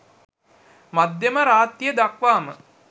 මධ්‍යම රාත්‍රිය දක්වාම